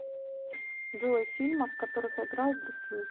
джой фильмов в которых играл брюс ли